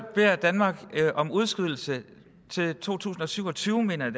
beder danmark om udskydelse til to tusind og syv og tyve mener